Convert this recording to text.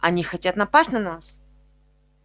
они хотят напасть на нас